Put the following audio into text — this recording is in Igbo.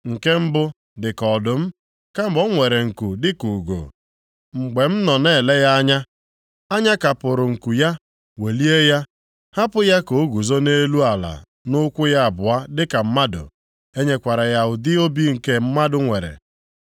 “Nke mbụ dị ka ọdụm, kama o nwere nku dịka ugo. Mgbe m nọ na-ele ya anya, a nyakapụrụ nku ya, welie ya, hapụ ya ka o guzo nʼelu ala nʼụkwụ ya abụọ dịka mmadụ. E nyekwara ya ụdị obi nke mmadụ nwere.